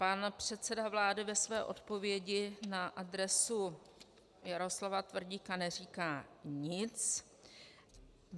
Pan předseda vlády ve své odpovědi na adresu Jaroslava Tvrdíka neříká nic.